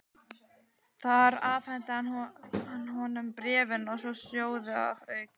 Þar afhenti hann honum bréfin og tvo sjóði að auki.